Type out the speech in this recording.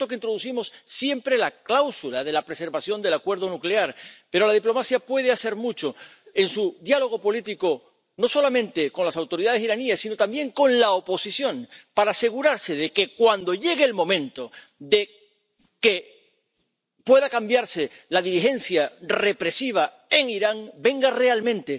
Es cierto que introducimos siempre la cláusula de la preservación del acuerdo nuclear, pero la diplomacia puede hacer mucho en su diálogo político, no solamente con las autoridades iraníes, sino también con la oposición, para asegurarse de que, cuando llegue el momento de que pueda cambiarse la dirigencia represiva en Irán, venga realmente